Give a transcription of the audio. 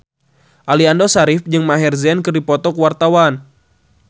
Aliando Syarif jeung Maher Zein keur dipoto ku wartawan